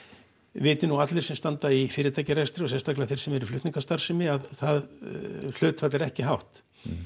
viti nú allir sem standa í fyrirtækjarekstri og sérstkalega þeir sem eru í flutningastarfsemi að það hlutfall er ekki hátt